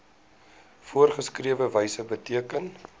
voorgeskrewe wyse beteken